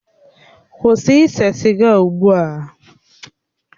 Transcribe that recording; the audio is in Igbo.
Kwụsị ise siga ugbu a!